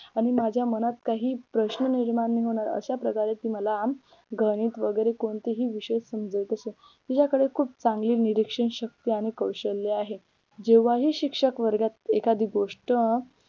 आणि माझ्या मनात काही प्रश्न निर्माण होणार अश्या प्रकारे मला गणित वगैरे कोणतेही विषय समजवत असे तिझ्याकडे खूप चांगली निरीक्षण शक्ती आणि कौशल्य आहे जेव्हा ही शिक्षक वर्गात एखादी गोष्ट